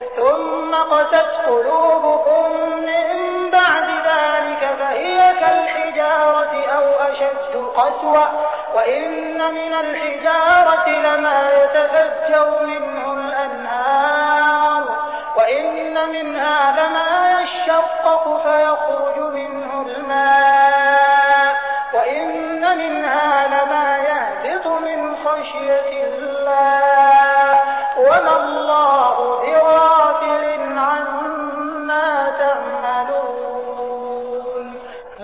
ثُمَّ قَسَتْ قُلُوبُكُم مِّن بَعْدِ ذَٰلِكَ فَهِيَ كَالْحِجَارَةِ أَوْ أَشَدُّ قَسْوَةً ۚ وَإِنَّ مِنَ الْحِجَارَةِ لَمَا يَتَفَجَّرُ مِنْهُ الْأَنْهَارُ ۚ وَإِنَّ مِنْهَا لَمَا يَشَّقَّقُ فَيَخْرُجُ مِنْهُ الْمَاءُ ۚ وَإِنَّ مِنْهَا لَمَا يَهْبِطُ مِنْ خَشْيَةِ اللَّهِ ۗ وَمَا اللَّهُ بِغَافِلٍ عَمَّا تَعْمَلُونَ